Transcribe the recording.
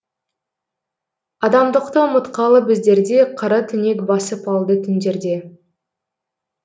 адамдықты ұмытқалы біздерде қара түнек басып алды түндерде